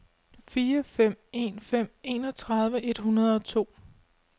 fire fem en fem enogtredive et hundrede og to